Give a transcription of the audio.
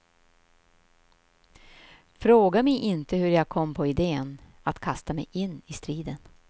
Fråga mig inte hur jag kom på idén att kasta mig in i striden.